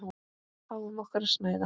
Fáum okkur að snæða.